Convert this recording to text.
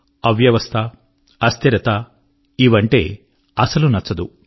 అవ్యవస్థ అస్థిరత ఇవంటే అసలు నచ్చదు